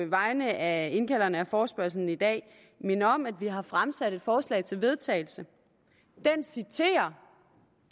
vegne af indkalderne af forespørgslen i dag minde om at vi har fremsat et forslag til vedtagelse det citerer